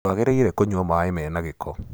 Ndwagĩrĩire kũnywa maĩ mena ngĩko.